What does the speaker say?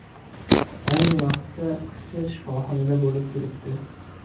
Ayni vaqtda qizcha shifoxonada bo‘lib turibdi.